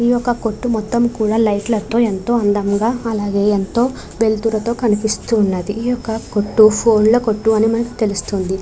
ఈ యొక్క కొట్టు మొత్తం కూడా లైట్ లతో ఎంతో అందముగా అలాగే ఎంతో వెలుతురుతో కనిపిస్తూ ఉన్నది ఈ యొక్క కొట్టు ఫోన్ లు కొట్టు అని మనకి తెలుస్తుంది.